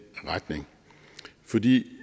retning fordi